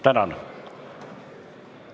Tänan!